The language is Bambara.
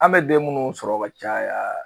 An bɛ den minnu sɔrɔ ka caya